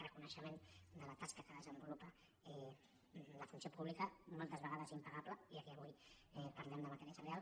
reconeixement de la tasca que desenvolupa la funció pública moltes vegades impa·gable ja que avui parlem de matèria salarial